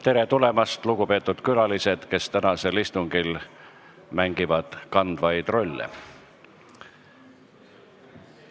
Tere tulemast, lugupeetud külalised, kes te tänasel istungil mängite kandvaid rolle!